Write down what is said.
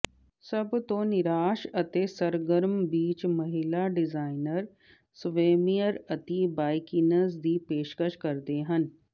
ਸਭ ਤੋਂ ਨਿਰਾਸ਼ ਅਤੇ ਸਰਗਰਮ ਬੀਚ ਮਹਿਲਾ ਡਿਜ਼ਾਈਨਰ ਸਵੈਮਿਅਰ ਅਤਿ ਬਾਈਕੀਨਜ਼ ਦੀ ਪੇਸ਼ਕਸ਼ ਕਰਦੇ ਹਨ